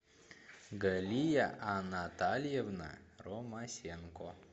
галия анатальевна ромасенко